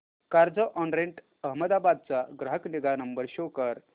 Carzonrent Ahmedabad चा ग्राहक निगा नंबर शो कर